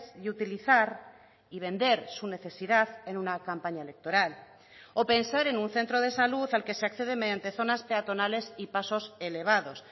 y utilizar y vender su necesidad en una campaña electoral o pensar en un centro de salud al que se accede mediante zonas peatonales y pasos elevados